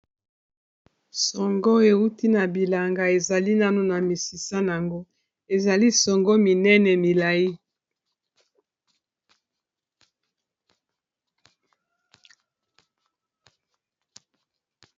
songo euti na bilanga ezali nanu na misisa yango ezali songo minene milai.